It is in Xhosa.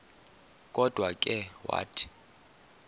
kodwa ke wathi